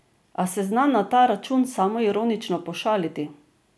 A se zna na ta račun samoironično pošaliti.